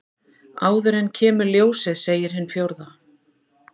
Áður en kemur ljósið segir hin fjórða.